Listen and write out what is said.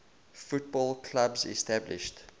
football clubs established